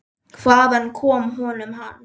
Hvaðan kom honum hann?